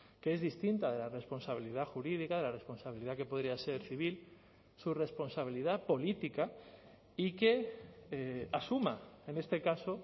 que es distinta de la responsabilidad jurídica de la responsabilidad que podría ser civil su responsabilidad política y que asuma en este caso